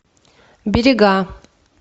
берега